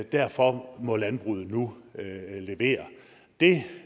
derfor må landbruget nu levere det